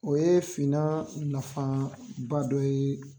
O ye finnan nafaba dɔ ye.